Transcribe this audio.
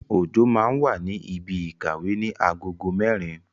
Ojo máa wà ní ibi ìkàwé ní agogo mẹ́rin